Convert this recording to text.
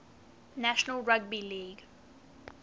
national rugby league